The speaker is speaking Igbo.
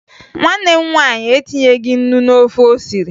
Nwanne m nwaanyị etinyeghi ńnú n'ofe o siri